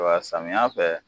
Wa samiya fɛ